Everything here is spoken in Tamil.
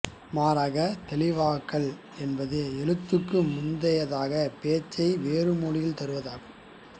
மாறாக தெளிவாக்கல் என்பது எழுத்துக்கு முந்தையதாக பேச்சை வேறுமொழியில் தருவதாகும்